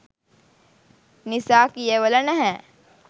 නිසා කියවල නැහැ